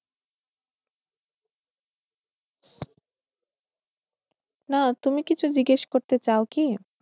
না, তুমি কিছু জিজ্ঞেস করতে চাও কি?